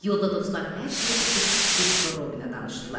Yolda dostlar hər şeyi açıb Kristofer Robinə danışdılar.